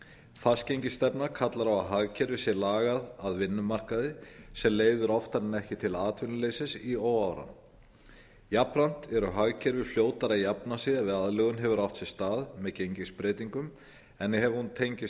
fastgengisstefna kallar á að hagkerfið sé lagað að vinnumarkaði sem leiðir oftar en ekki til atvinnuleysis í óáran jafnframt eru hagkerfi fljótar að jafna sig ef aðlögun hefur átt sér stað með gengisbreytingum en ef hún tengist